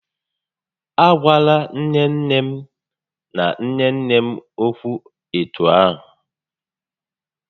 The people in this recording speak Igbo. A gwala nné nné m na nné nné m ókwú etu ahụ!